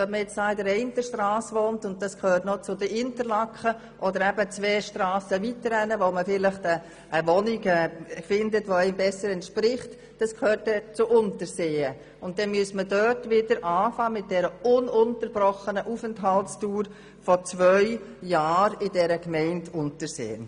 Wohnt man an einer Strasse, die noch zu Interlaken gehört, und findet vielleicht zwei Strassen weiter in Unterseen eine Wohnung, die einem besser entspricht, müsste man mit der ununterbrochenen Aufenthaltsdauer von zwei Jahren in der Gemeinde Unterseen neu beginnen.